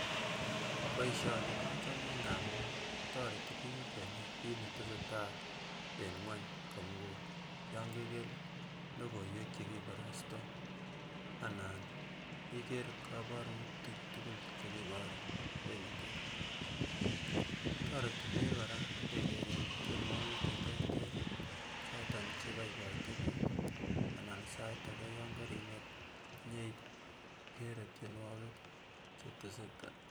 Boisioni achome amun toreti biik kenai kit netesetai eng ngwony komugul yon keker logoiwek chekiborosto anan iker koborutik tukul chekiboru eng yutet toreti biik kora kekeren tienwogik cheterter choton cheboiboite biik anan sait ake yon keringet inyeikere tienwogik cheteseta